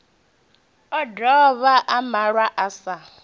o dovha a malwa sa